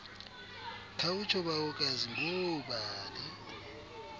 khawutsho bawokazi ngoobani